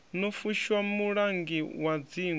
no fushwa mulangi wa dzingu